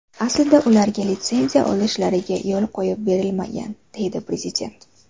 Aslida ularga litsenziya olishlariga yo‘l qo‘yib berilmagan”, deydi Prezident.